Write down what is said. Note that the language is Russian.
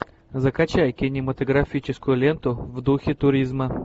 закачай кинематографическую ленту в духе туризма